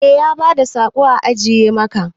Eh ya bada saƙo a ajiye maka.